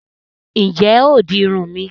Ǹjẹ́ o óò di Irun mi?